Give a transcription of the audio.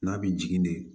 N'a bɛ jigin de